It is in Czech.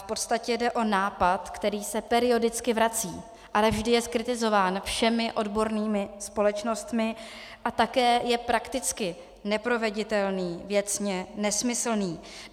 V podstatě jde o nápad, který se periodicky vrací, ale vždy je zkritizován všemi odbornými společnostmi a také je prakticky neproveditelný, věcně nesmyslný.